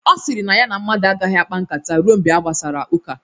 Ọ sịrị na ya na mmadụ agaghị akpa nkata ruo mgbe a gbasara ụka